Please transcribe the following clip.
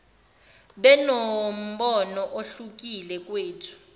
benombono ohlukile kowethu